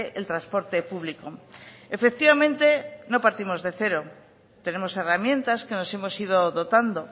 el transporte público efectivamente no partimos de cero tenemos herramientas que nos hemos ido dotando